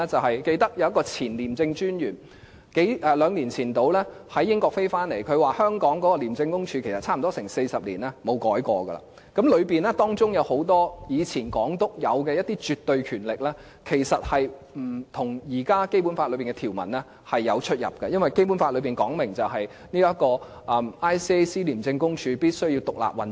我記得有一名前廉政專員大約兩年前從英國回來，他說廉署差不多40年來不曾改變，當中有很多前港督擁有的一些絕對權力，其實跟現時《基本法》的條文有出入，因為《基本法》訂明，廉署必須獨立運作。